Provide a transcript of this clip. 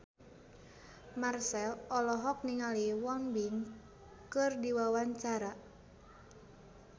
Marchell olohok ningali Won Bin keur diwawancara